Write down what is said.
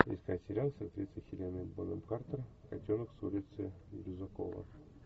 искать сериал с актрисой хеленой бонэм картер котенок с улицы лизюкова